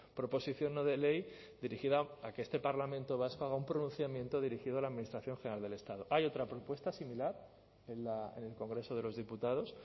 proposición no de ley dirigida a que este parlamento vasco haga un pronunciamiento dirigido a la administración general del estado hay otra propuesta similar en el congreso de los diputados